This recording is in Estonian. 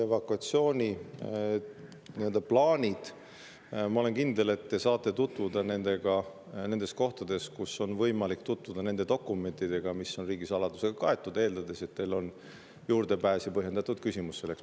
Evakuatsiooni viisi ja plaanidega, ma olen kindel, te saate tutvuda nendes kohtades, kus on võimalik tutvuda nende dokumentidega, mis on riigisaladusega kaetud, eeldades, et teil on juurdepääs ja teie küsimus on põhjendatud.